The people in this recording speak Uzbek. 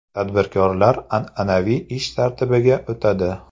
Tadbirkorlar an’anaviy ish tartibiga o‘tadi.